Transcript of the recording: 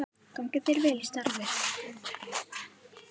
Gangi þér vel í starfi.